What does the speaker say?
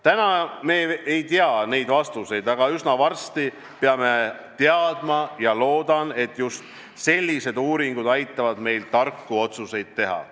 Täna me ei tea neid vastuseid, aga üsna varsti peame teadma, ja ma loodan, et just sellised uuringud aitavad meil tarku otsuseid teha.